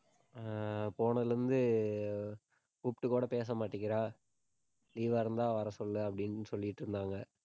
ஆஹ் போனதுல இருந்து கூப்பிட்டு கூட பேச மாட்டேங்கிறா leave ஆ இருந்தா வர சொல்லு அப்படின்னு சொல்லிட்டிருந்தாங்க